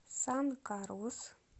сан карлус